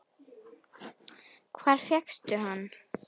Hvar fékkstu hann?